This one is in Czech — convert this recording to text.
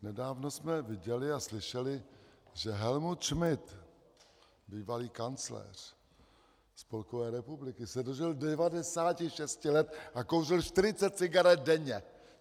Nedávno jsme viděli a slyšeli, že Helmut Schmidt, bývalý kancléř Spolkové republiky, se dožil 96 let a kouřil 40 cigaret denně.